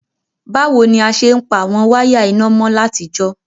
Bàwoni a se n pa àwon wire iná mo látijọ́?